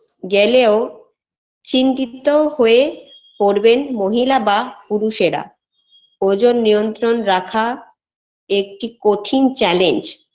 গেলেও চিন্তিত হয়ে পরবেন মহিলা বা পুরুষেরা ওজন নিয়ন্ত্রণ রাখা একটি কঠিন challenge